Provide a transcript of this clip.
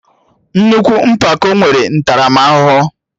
Nnukwu mpako nwere ntaramahụhụ